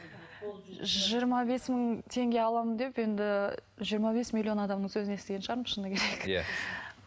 жиырма бес мың теңге аламын деп енді жиырма бес миллион адамның сөзін естіген шығармын шыны керек иә